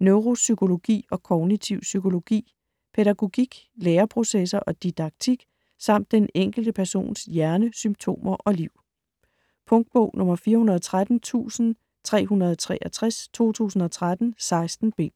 neuropsykologi og kognitiv psykologi, pædagogik, læreprocesser og didaktik samt den enkelte persons hjerne, symptomer og liv. Punktbog 413363 2013. 16 bind.